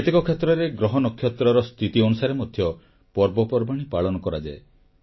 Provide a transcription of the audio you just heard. କେତେକ କ୍ଷେତ୍ରରେ ଗ୍ରହ ନକ୍ଷତ୍ରର ସ୍ଥିତି ଅନୁସାରେ ମଧ୍ୟ ପର୍ବପର୍ବାଣୀ ପାଳନ କରାଯାଏ